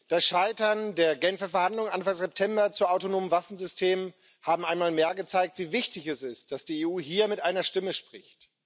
Das Scheitern der Genfer Verhandlungen Anfang September zu autonomen Waffensystemen hat einmal mehr gezeigt, wie wichtig es ist, dass die EU hier mit einer Stimme spricht.